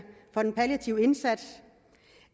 for den palliative indsats